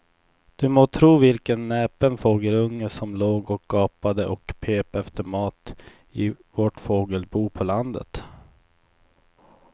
Du må tro vilken näpen fågelunge som låg och gapade och pep efter mat i vårt fågelbo på landet.